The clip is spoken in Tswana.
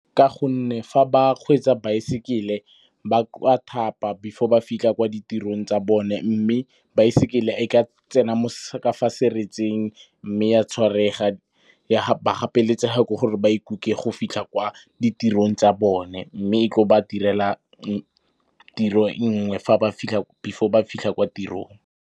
Ka gonne fa ba kgweetsa baesekele ba ka thapa before ba fitlha kwa ditirong tsa bone. Mme baesekele e ka tsena mo seretseng mme ya tshwarega, ba gapeletsega ke gore ba ikuke go fitlha kwa ditirong tsa bone. Mme e tlo ba direla tiro e nngwe before ba fitlha kwa tirong.